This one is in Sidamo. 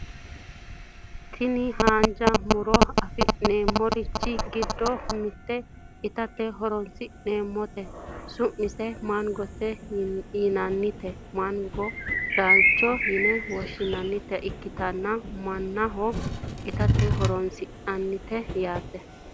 Tini haanja muroni afinemorichi giddo mitte itate horinsi`neemoti su`aseno mangote yinani tini mangono laalcho yine woshinayita ikitanna manaho itate horonsinanite yaate.